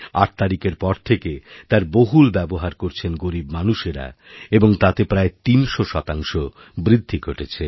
আট তারিখের পর থেকে তার বহুল ব্যবহার করছেন গরীব মানুষেরা এবং তাতে প্রায় তিনশোশতাংশ বৃদ্ধি ঘটেছে